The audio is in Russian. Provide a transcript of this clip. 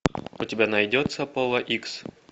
у тебя найдется пола икс